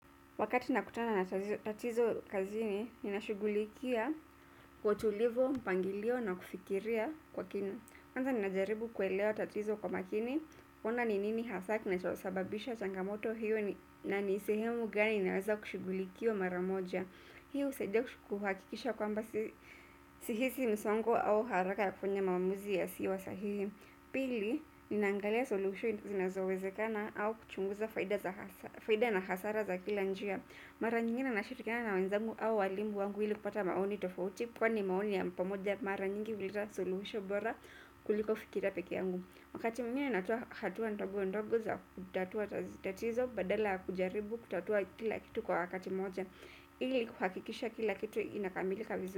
Wakati nakutana na tatizo kazini, ninashugulikia kwa utulivu, mpangilio na kufikiria kwa kina. Kwanza ninajaribu kuelewa tatizo kwa makini, kuona ni nini haswa kinachosababisha changamoto hiyo na ni sehemu gani inaweza kushughulikiwa maramoja. Hiyo husaidia kuhakikisha kwamba sihisi msongo au haraka ya kufanya maamuzi yasiyosahihi. Pili, ni nangalia suluhisho zinazowezekana au kuchunguza faida na hasara faida na hasara za kila njia. Mara nyingine nashirikiana na wanzangu au walimu wangu ili kupata maoni tofauti kwani maoni ya pamoja mara nyingi huleta suluhisho bora kuliko fikira peke yangu. Wakati mwingine natoa hatua ndogo ndogo za kutatua tatizo badala ya kujaribu kutatua kila kitu kwa wakati moja ili kuhakikisha kila kitu inakamilika vizuri.